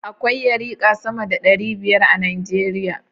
Akwai yarika sama da ɗari biyar a Nijeriya